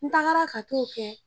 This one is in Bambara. N tagara ka t'o kɛ